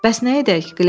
Bəs nə edək?